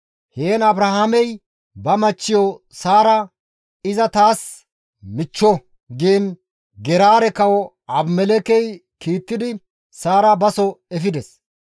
Heen Abrahaamey ba machchiyo Saara, «Iza taas michcho» giin Geraare kawo Abimelekkey kiittidi Saara baso efides.